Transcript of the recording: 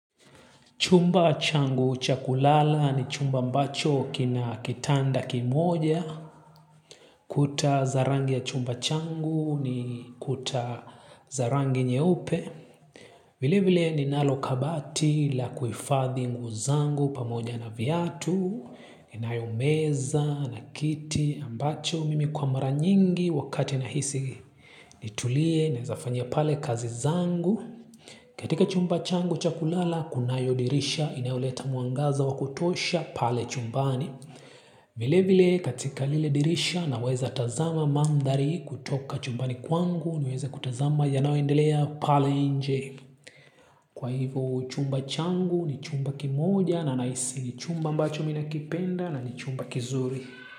Chumba changu cha kulala ni chumba ambacho kina kitanda kimoja. Kuta za rangi ya chumba changu ni kuta za rangi nyeupe. Vile vile ninalokabati la kuhifadhi nguo zangu pamoja na viatu. Inayo meza na kiti ambacho mimi kwa mara nyingi wakati nahisi nitulie naezafanya pale kazi zangu. Katika chumba changu cha kulala, kunayo dirisha inayoleta mwangaza wa kutosha pale chumbani. Vile vile katika lile dirisha naweza tazama mandhari kutoka chumbani kwangu niweze kutazama yanayoendelea pale nje. Kwa hivo chumba changu ni chumba kimoja na nahisi ni chumba ambacho mimi ninakipenda na ni chumba kizuri.